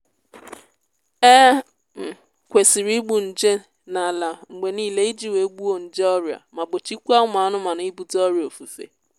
e um kwesịrị igbu nje n'ala mgbe niile iji wee gbuo nje ọrịa ma gbochikwaa ụmụ anụmanụ ibute ọrịa ofufe